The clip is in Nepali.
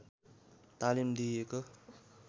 तालिम दिइएको